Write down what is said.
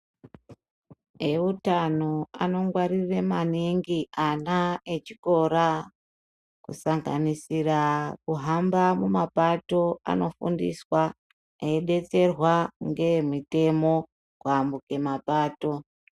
Eutano anongwarire maningi ana echikora, kusanganisira kuhamba mumapato anofundiswa ,eidetserwa ngeemitemo kuambuke mapato.